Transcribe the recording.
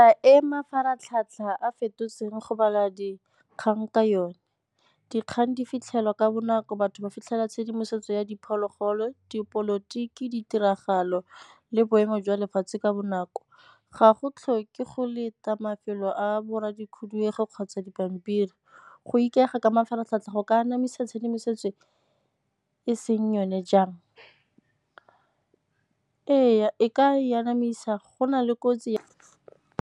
A e mafaratlhatlha a fetotsweng go bala dikgang ka yone. Dikgang di fitlhelwa ka bonako batho ba fitlhela tshedimosetso ya diphologolo dipolotiki ditiragalo le boemo jwa lefatshe ka bonako ga go tlhoke go leta mafelo a borra di khuduego kgotsa dipampiri. Go ikaega ka mafaratlhatlha go ka anamisa tshedimosetso e seng yone jang? Ee, e ka e anamisa go na le kotsi ya.